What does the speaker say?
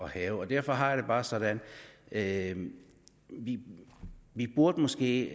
hærge derfor har jeg det bare sådan at vi måske